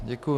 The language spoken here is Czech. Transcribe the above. Děkuji.